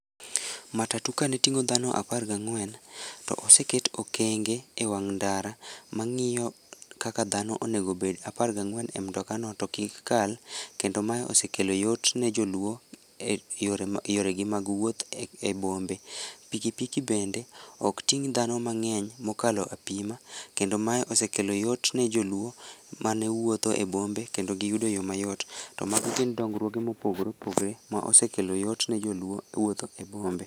Matatu kane ting'o dhano apar gang'wen, to oseket okenge e wang' ndara, mang'iyo kaka dhano onego obed apar gang'wen e mtoka no to kik kal. Kendo mae osekelo yot ne joluo e yoregi ma yoregi mag wuoth e bombe. pikipiki bende ok ting' dhano mang'eny mokalo apima, kendo mae osekelo yot ne joluo mane wuotho e bombe kendo giyudo yo mayot. To mago gin dongruoge mopogore opogre ma osekelo yot ne joluo e wuotho e bombe